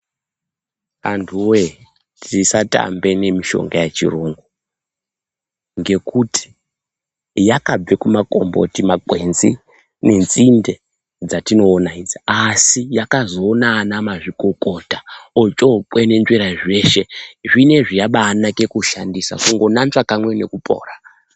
Antu woye tisatamba nemishonga yechirungu. Ngekuti yakabva kumakomboti, kumagwenzi nenzinde, dzatinoona idzi. Asi yakazoona vana mazvikokota ochookwenenzvera zveshe. Zvinezvi yabaanaka kushandisa kungonanzve kamwe ngekupora.